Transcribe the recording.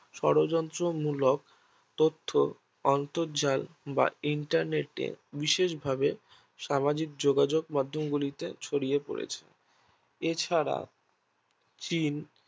মূলক তথ্য অন্তরজাল বা Internet এ বিশেষ ভাবে সামাজিক যোগাযোগ মাধ্যম গুলিতে ছড়িয়ে পড়েছে এছাড়া